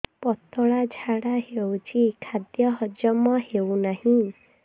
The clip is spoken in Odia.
ପତଳା ଝାଡା ହେଉଛି ଖାଦ୍ୟ ହଜମ ହେଉନାହିଁ